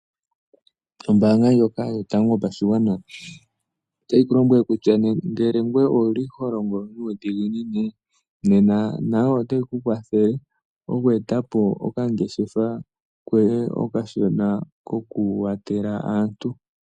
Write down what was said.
Ombaanga ndjoka yotango yo pashigwana ota yi ku lombwele kutya, ngele ngweye owu li ho longo nuudhiginini nena nayo ota yi ku kwathele okweetapo okangeshefa koye okashona koku watela aantu.